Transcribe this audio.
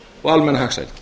og almenna hagsæld